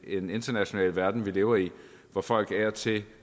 en international verden vi lever i hvor folk af og til